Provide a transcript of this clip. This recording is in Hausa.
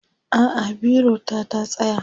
a'a biro ta ta tsaya